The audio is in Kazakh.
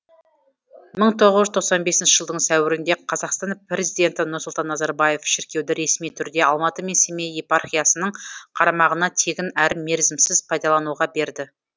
мың тоғыз жүз тоқсан бесінші жылдың сәуірінде қазақстан президенті нұрсұлтан назарбаев шіркеуді ресми түрде алматы мен семей епархиясының қарамағына тегін әрі мерзімсіз пайдалануға берді